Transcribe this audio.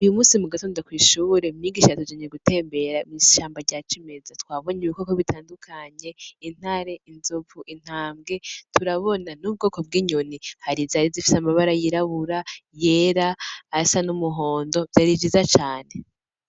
Uyu musi mu gatondo kw'ishure umwigisha yatujanye gutembera mw'ishamba rya cimeza twabonye ibikoko bitandukanye intare inzovu intambwe turabona n'ubwoko bw'inyoni harizari zifise amabara yirabura yera asa n'umuhondo vyari vyiza cane.